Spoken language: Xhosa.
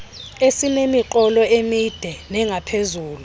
esinemiqolo emide nengaphezulu